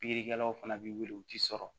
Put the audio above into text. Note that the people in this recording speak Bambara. Pikirikɛlaw fana bɛ wuli u tɛ sɔrɔ